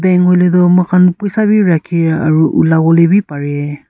bank hoiletoh moikan puisa beh rakhi aro olapo beh pari.